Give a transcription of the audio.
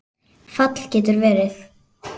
Fall getur verið